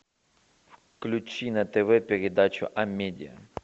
включи на тв передачу амедиа